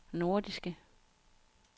nordiske